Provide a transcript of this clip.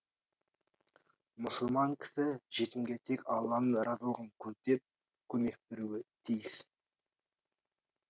мұсылман кісі жетімге тек алланың разылығын көздеп көмек беруі тиіс